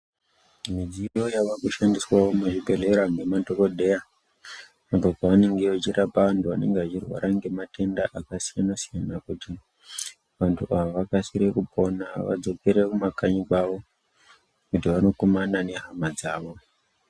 Midziyo yavakushandiswawo muzvipatara nemadhokodheya apo pavanenge vachirapa vantu vanenge vachirwara ngematenda akasiyana-siyana kuti, vantu ava vakasikire kupona, vadzokere kumakanyi kwavo kuti vanokumana nehama dzavo.